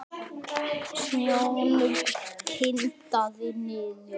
Snjónum kyngdi niður.